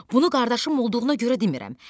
Bunu qardaşım olduğuna görə demirəm.